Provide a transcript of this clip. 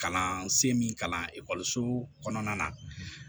Kalansen min kalan kɔnɔna na